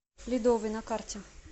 ледовый на карте